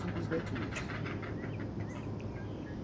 Simplesmente isso.